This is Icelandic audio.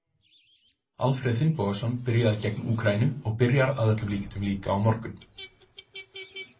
Alfreð Finnbogason byrjaði gegn Úkraínu og byrjar að öllum líkindum líka á morgun.